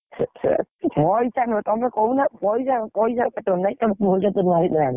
ମୋ ଇଚ୍ଛା କଣ ପଇସା କଣ ତମେ କହୁନ ପଇସା କଣ ପଇସା ତମେ କୁହ କେତେ ଟଙ୍କା ଭିତରେ ଆଣିବି?